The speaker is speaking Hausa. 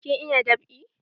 Kin iya dab'i?